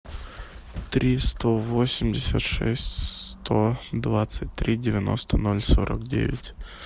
три сто восемьдесят шесть сто двадцать три девяносто ноль сорок девять